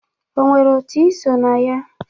O nwere otu ị so na ya?